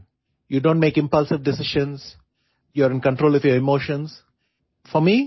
you donଟି make impulsive decisions you are in control of your emotions